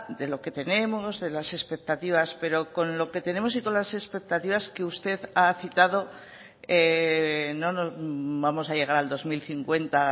de lo que tenemos de las expectativas pero con lo que tenemos y con las expectativas que usted ha citado no vamos a llegar al dos mil cincuenta